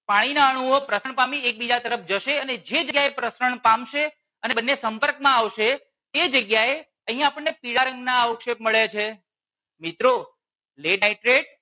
પાણીના અણુઓ પ્રસરણ પામી એકબીજા તરફ જશે અને જે જગ્યા એ પ્રસરણ પામશે અને બંને સંપર્ક માં આવશે એ જગ્યા એ અહિયાં આપણને પીળા રંગ ના અવશેપ મળે છે મિત્રો lead nitrate